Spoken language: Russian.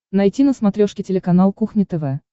найти на смотрешке телеканал кухня тв